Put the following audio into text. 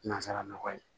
Nansara nɔgɔ ye